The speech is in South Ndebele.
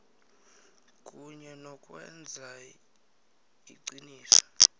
kunye nokwenza iqiniso